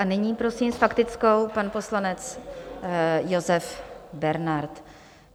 A nyní prosím, s faktickou pan poslanec Josef Bernard.